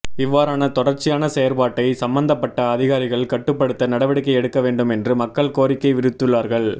இவ்வாறான தொடர்ச்சியான செயற்பாட்டை சம்மந்தப்பட்ட அதிகாரிகள் கட்டுப்படுத்த நடவடிக்கை எடுக்கவேண்டும் என்று மக்கள் கோரிக்கை விடுத்துள்ளார்கள்